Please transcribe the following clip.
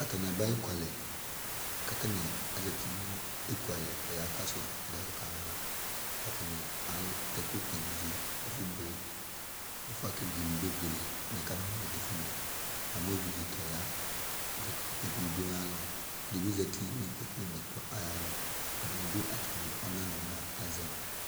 alʊɛɗɩnɩ aha eƙʊalɛɗja ɛsɛ ɛɗɩnʊ ɛɗɩ kaha nɛɓʊɛ nɛɓʊɛ, ƙʊ ewle ʊƴotsʊwanɩ ɛƒʊzaƴɛɗʊ mɛ ʊƴotsʊwanɩ ƙaɓanʊ ɛɗɩ, ɛsɛ ɛɗɩ nʊ ɛɗɩ aƴɔ ʊta ʊƴotsʊ ɛɗɩ ƴɛʋʊ ɩƙpoƙʊ ɗʊ alɔƙaƴɩ ɛɗɩɓɩ zatɩ nʊ ɩƙpoƙʊ nʊ ɛƙplɔ aƴalɔ ɛɗɩnɩɓɩ ɔna nʊ azɛma